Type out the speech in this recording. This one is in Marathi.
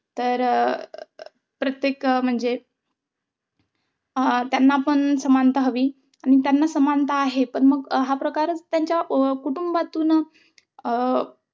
तर अं प्रत्येक म्हणजे अह त्यांना पण समानता हवी आणि पण मग समानता आहे. पण, हा प्रकार त्यांच्या कुटूंबातूनच अं